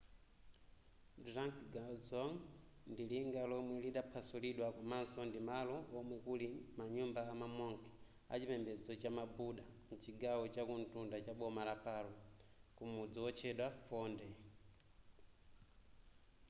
drukgyal dzong ndi linga lomwe lidaphwasulidwa komanso ndimalo omwe kuli manyumba ama monk achipembedzo chama buddha m'chigawo chakumtunda chaboma la paro kumudzi wotchedwa phondey